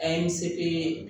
A ye n seko ye